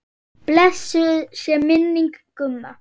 Blessuð sé minning Gumma.